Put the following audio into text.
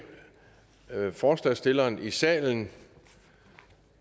forslagsstilleren i salen